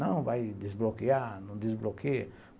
Não, vai desbloquear, não desbloqueia.